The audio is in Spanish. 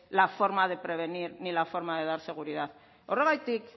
la forma de prevenir ni la forma de dar seguridad horregatik